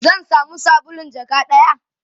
zan samu sabulun jaka ɗaya?